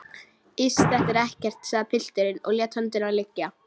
Iss, þetta er ekkert, sagði pilturinn og lét höndina liggja.